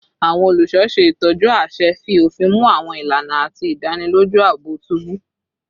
Awọn oluṣọ ṣe itọju aṣẹ, fi ofin mu awọn ilana, ati idaniloju aabo tubu